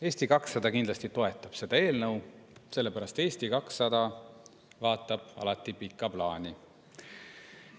Eesti 200 kindlasti toetab seda eelnõu, sellepärast et Eesti 200 vaatab alati pikka plaani.